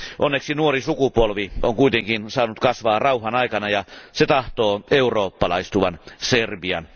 Onneksi nuori sukupolvi on kuitenkin saanut kasvaa rauhan aikana ja se tahtoo eurooppalaistuvan Serbian.